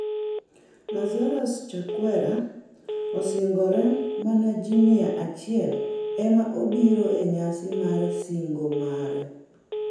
Lazarus Chakwera osingore, mana ji mia achiel ema obiro e nyasi mar sing'o mare